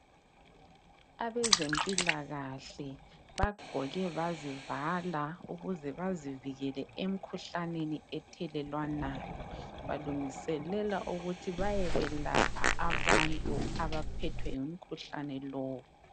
Abezempilakahle bagqoke bazivala ukuze bazivikele emkhuhlaneni ethelelwanayo. Balungiselela ukuthi bayekwelapha abantu abaphethwe ungumkhuhlane lowo.